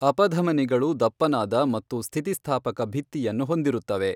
ಅಪಧಮನಿಗಳು ದಪ್ಪನಾದ ಮತ್ತು ಸ್ಥಿತಿಸ್ಥಾಪಕ ಭಿತ್ತಿಯನ್ನು ಹೊಂದಿರುತ್ತವೆ.